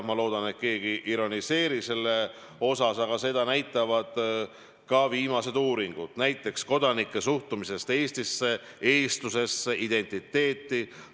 Ma loodan, et keegi ei ironiseeri selle üle, aga seda näitavad ka viimased uuringud, näiteks uuring kodanike suhtumisest Eestisse, eestlusesse, identiteeti.